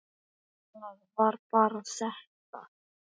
Það var bara þetta.